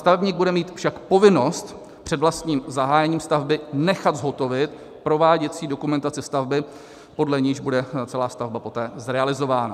Stavebník bude mít však povinnost před vlastním zahájením stavby nechat zhotovit prováděcí dokumentaci stavby, podle níž bude celá stavba poté zrealizována.